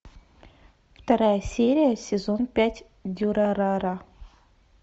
вторая серия сезон пять дюрарара